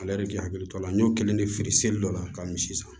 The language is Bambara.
Ale yɛrɛ k'i hakili to a la an y'o kelen de feere seli dɔ la ka min san